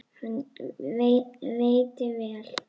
Hann veitti vel